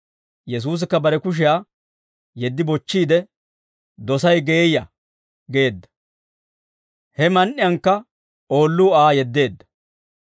Yesuusikka bare kushiyaa yeddi bochchiide, «Dosay geeyya!» geedda. Heman"iyankka oolluu Aa yeddeedda.